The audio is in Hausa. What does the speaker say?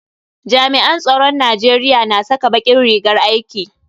Jami'an tsaron Najeriya na saka bakin rigar aiki.